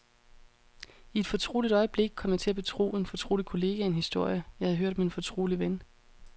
I et fortroligt øjeblik kom jeg til at betro en fortrolig kollega en historie, jeg havde hørt om en fortrolig ven.